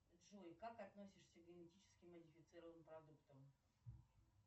джой как относишься к генетически модифицированным продуктам